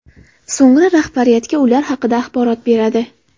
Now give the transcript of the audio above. So‘ngra rahbariyatga ular haqida axborot beradi.